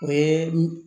O ye